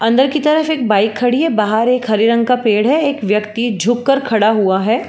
अंदर की तरफ एक बाइक खड़ी है। बाहर एक हरे रंग का पेड़ है। एक ब्यक्ति झुक कर खड़ा हुआ है।